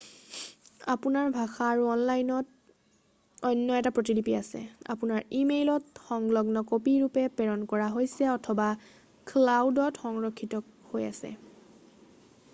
"আপোনাৰ ভাষা আৰু অনলাইনত অন্য এটা প্ৰতিলিপি আছে আপোনাৰ ই-মেইলত সংলগ্ন কপি ৰূপে প্ৰেৰণ কৰা হৈছে অথবা "ক্লাউড""ত সংৰক্ষিত হৈ আছে। "